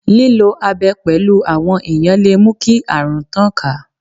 Lílo abẹ pẹ̀lú àwọn èèyàn lè mú kí àrùn tàn ká.